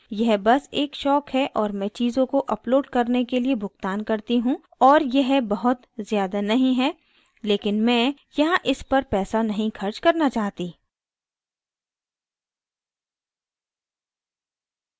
यह this एक शौक है और मैं चीज़ों को अपलोड करने के लिए भुगतान करती हूँ और यह बहुत ज़्यादा नहीं है लेकिन मैं यहाँ इस पर पैसा नहीं खर्च करना चाहती